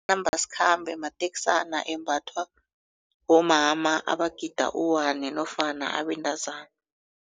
Amanambasikhambe mateksana embathwa bomama abagida u-one nofana abentazana.